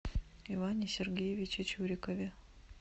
иване сергеевиче чурикове